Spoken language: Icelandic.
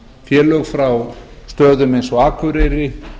félög frá stöðum eins og akureyri